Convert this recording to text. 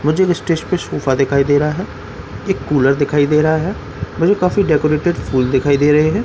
मुझे दिखाई दे रहा है एक कूलर दिखाई दे रहा है मुझे काफी डेकोरेटेड फूल दिखाई दे रहे हैं।